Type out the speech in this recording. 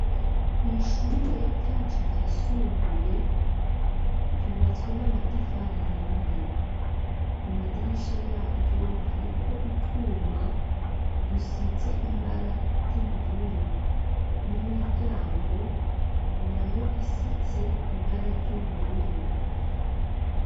Kw'ishure ryacu ryisumbuye ryubatswe n'amatafar'ahiye, kumadirisha yaryo hariko utwuma dusize ibara ry'ubururu n'imiryango nayo isize ibara ry'ubururu